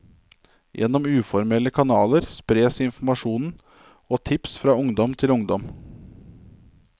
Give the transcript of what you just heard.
Gjennom uformelle kanaler spres informasjon og tips fra ungdom til ungdom.